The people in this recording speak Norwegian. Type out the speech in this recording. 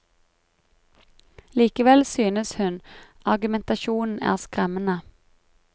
Likevel synes hun argumentasjonen er skremmende.